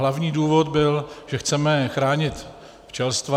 Hlavní důvod byl, že chceme chránit včelstva.